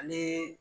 Ani